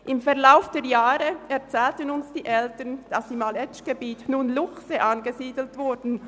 Im Verlauf der Jahre erzählten uns die Eltern, dass im Aletschgebiet Luchse angesiedelt wurden.